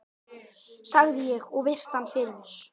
sagði ég og virti hann fyrir mér.